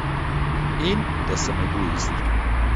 In da sem egoist.